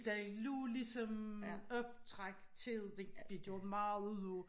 Der lå ligesom optræk til det de gjorde meget ud af